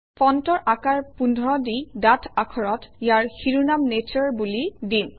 ফণ্টৰ আকাৰ ১৫ দি ডাঠ আখৰত ইয়াৰ শিৰোনাম নাটোৰে বুলি দিম